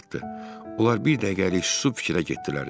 Onlar bir dəqiqəlik susub fikrə getdilər.